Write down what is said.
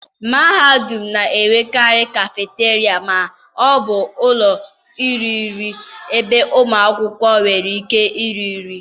mahadum na-enwekarị cafeteria ma ọ bụ ụlọ iri nri ebe ụmụ akwụkwọ nwere ike iri nri.